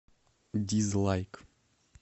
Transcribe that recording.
дизлайк